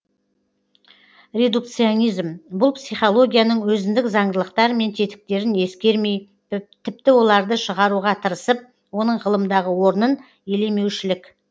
редукционизм бұл психологияның өзіндік заңдылықтар мен тетіктерін ескермей тіпті оларды шығаруға тырысып оның ғылымдағы орнын елемеушілік